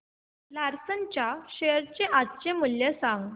Larsen च्या share चे आजचे मूल्य सांगा